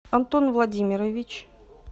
антон владимирович